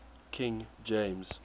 king james